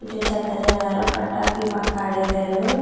ఇక్కడ చెత్తా చెదారం గట్టా ఆ పక్క ఎసరు.